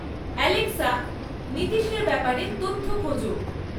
Alexa, নীতিশের ব্যাপারে তথ্য খোঁজো